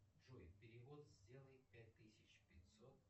джой перевод сделай пять тысяч пятьсот